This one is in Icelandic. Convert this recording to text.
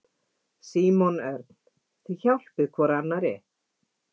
Símon Örn: Þið hjálpið hvor annarri?